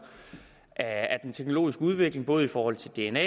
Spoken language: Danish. at den teknologiske udvikling både i forhold til dna